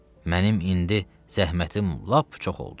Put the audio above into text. Mənim indi zəhmətim lap çox oldu.